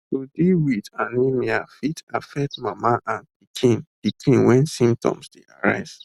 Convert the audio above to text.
to deal wit anemia fit affect mama and pikin pikin wen symptoms dey arise